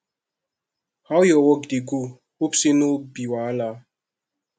how your work dey go hope say no be wahala